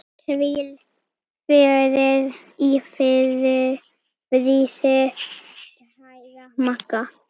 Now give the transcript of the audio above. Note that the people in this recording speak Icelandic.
Hvíl í friði kæra Magga.